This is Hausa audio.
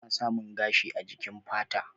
Ana Samun gashi a jikin fata.